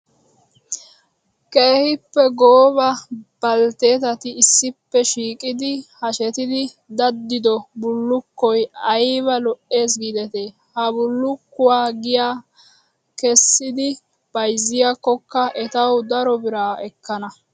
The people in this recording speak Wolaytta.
Keehippe gooba baltteetati issippe shiiqidi hashettidi daddidoo bullukkoyi ayiba lo''es giidetii. Ha bullukkuwaa giyaa kessidi bayzziyaakkokka etawu daro bira ekkana.